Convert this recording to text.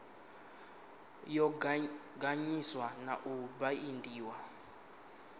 yo ganḓiswa na u baindiwa